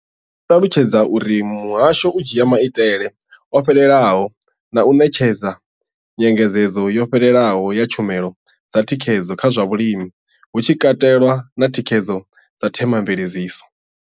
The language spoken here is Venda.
Vho ṱalutshedza uri muhasho u dzhia maitele o fhelelaho na u ṋetshedza nyengedzedzo yo fhelelaho ya tshumelo dza thikhedzo kha zwa vhulimi, hu tshi katelwa na thikhedzo ya themamveledziso.